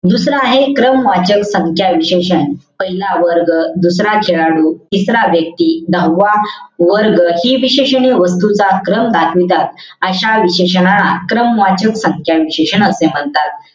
दुसरं आहे, क्रमवाचक संख्या विशेषण. पहिला वर्ग. दुसरा खेळाडू. तिसरा व्यक्ती. सहावा वर्ग. हि विशेषणे वस्तूचा क्रम दाखवितात. अशा विशेषनाला क्रमवाचक संख्या विशेषण असे म्हणतात.